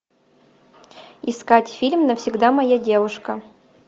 искать фильм навсегда моя девушка